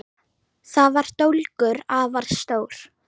Þar var dólgur, afar stór